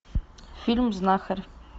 фильм знахарь